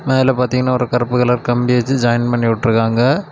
அதுல பாத்தீங்கன்னா ஒரு கருப்பு கலர் கம்பி வச்சு ஜாயின் பண்ணி வுட்டிருக்காங்க.